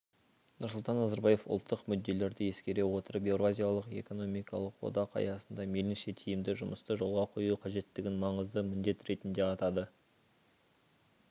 нұрсұлтан назарбаев ұлттық мүдделерді ескере отырып еуразиялық экономикалық одақ аясында мейлінше тиімді жұмысты жолға қою қажеттігін маңызды міндет ретінде атады